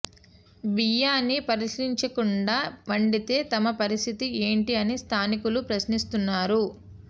బియ్యాన్ని పరిశీలించకుండా వండితే తమ పరిస్థితి ఏంటీ అని స్థానికులు ప్రశ్నిస్తున్నారు